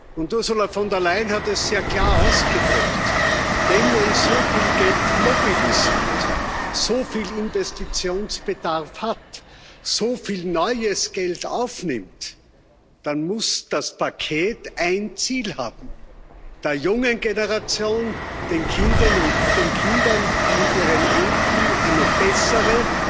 Und Ursula von der Leyen hat es sehr klar ausgedrückt Wenn man so viel Geld mobilisiert, so viel Investitionsbedarf hat, so viel neues Geld aufnimmt, dann muss das Paket ein Ziel haben der jungen Generation, den Kindern und ihren Enkeln eine bessere,